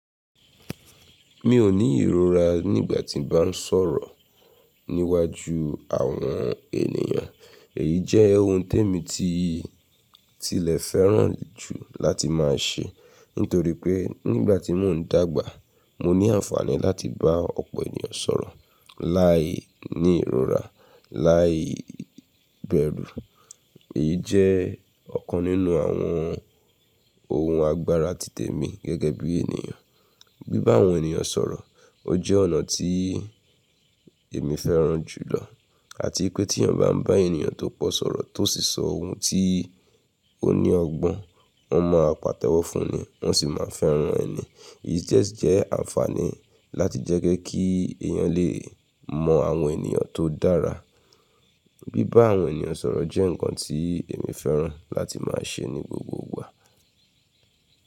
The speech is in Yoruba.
Mi ò ní ìrora nígbà tí n bá ń sọ̀rọ̀ níwájú àwọn ènìyàn. Èyí jẹ́ ohun témi ti tilẹ̀ fẹ́ràn jù láti máa ṣe. Nítorí pé nígbà tí mò ń dàgbà, mo ní àǹfààní láti bá ọ̀pọ̀ ènìyàn sọ̀rọ̀ láì ní ìrora, láì bẹ̀rù. Èyí jẹ́ ọ̀kan nínú àwọn ohun agbára ti tèmi gẹ́gẹ́ bí ènìyàn. Bíbá àwọn ènìyàn sọ̀rọ̀, ó jẹ́ ọ̀nà tí èmi fẹ́ràn jùlọ. Àti pé tí ènìyàn bá ń bá ènìyàn tó pọ̀ sọ̀rọ̀ tó sì sọ ohun tí ó ní ọgbọ́n, wọ́n máa pàtẹ́wọ́ fun ni, wọ́n sì máa fẹ́ràn ẹ̀ ni. Èyí jẹ jẹ́ àǹfààní láti jẹ́ kí èèyàn lè mọ àwọn ènìyàn tó dára. Gbigba àwọn ènìyàn sọ̀rọ̀ jẹ́ ǹkan tí èmi fẹ́ràn láti máa ṣe ní gbogbo ìgbà.